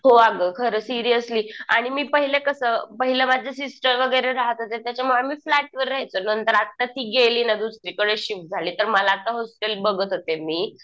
हो अगं खरंच. सिरिअसली. आणि मी पहिले कसं पहिले माझ्या सिस्टर वगैरे राहात होते. त्याच्यामुळे आम्ही फ्लॅटवर राहायचो. नंतर आता ती गेली ना दुसरीकडे शिफ्ट झाली. तर मला आता हॉस्टेल बघत होते मी.